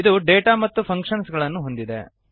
ಇದು ಡೇಟಾ ಮತ್ತು ಫಂಕ್ಶನ್ಸ್ ಗಳನ್ನು ಹೊಂದಿದೆ